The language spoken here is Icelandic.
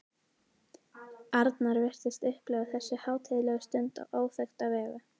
Arnar virtist upplifa þessu hátíðlegu stund á áþekka vegu.